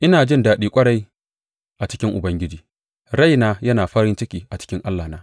Ina jin daɗi ƙwarai a cikin Ubangiji; raina yana farin ciki a cikin Allahna.